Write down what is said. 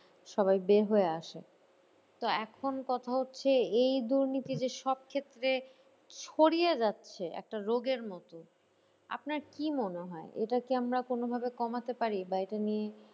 সবাই বের হয়ে আসে তো এখন কথা হচ্ছে এই দুর্নীতির সব ক্ষেত্রে ছড়িয়ে যাচ্ছে একটা রোগের মতো। আপনার কি মনে হয় এটা কি আমরা কোনো ভাবে কমাতে পারি? বা এটা নিয়ে